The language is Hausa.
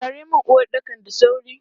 Share mun uwaɗɗakan da sauri!